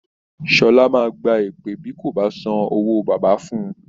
Sọlá máa gba èpè bí kò bá san owó bàbá fún-un